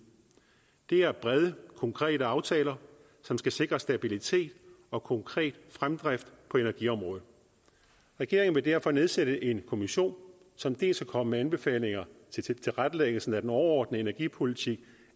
det er brede konkrete aftaler som skal sikre stabilitet og konkret fremdrift på energiområdet regeringen vil derfor nedsætte en kommission som dels vil komme med anbefalinger til tilrettelæggelsen af den overordnede energipolitik